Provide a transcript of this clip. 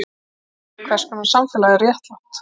Hvers konar samfélag er réttlátt?